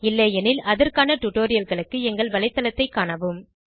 இல்லையெனில் அதற்கான டுடோரியல்களுக்கு எங்கள் வலைத்தளத்தைக் காணவும்